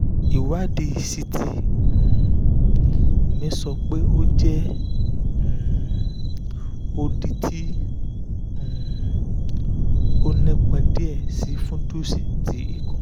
ìwádìí ct um mi sọ pé o jẹ um odi ti um o nipọn diẹ si fundus ti